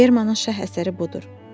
Bermanın şah əsəri budur.